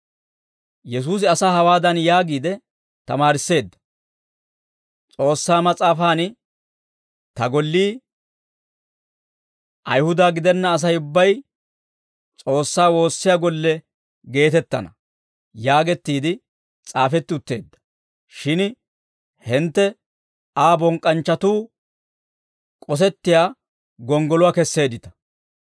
Yesuusi asaa hawaadan yaagiide tamaarisseedda: «S'oossaa Mas'aafan, ‹Ta gollii Ayihuda gidenna Asay ubbay S'oossaa woossiyaa golle geetettana› yaagettiide s'aafeetti utteedda; shin hintte Aa bonk'k'anchchatuu k'osettiyaa gonggoluwaa kesseeddita.»